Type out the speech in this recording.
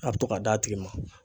A bɛ to k'a d'a tigi ma.